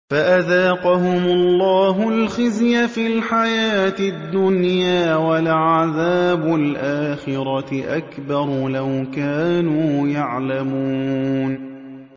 فَأَذَاقَهُمُ اللَّهُ الْخِزْيَ فِي الْحَيَاةِ الدُّنْيَا ۖ وَلَعَذَابُ الْآخِرَةِ أَكْبَرُ ۚ لَوْ كَانُوا يَعْلَمُونَ